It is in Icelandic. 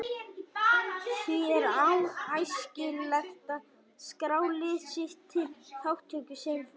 Því er æskilegt að skrá lið sitt til þátttöku sem fyrst.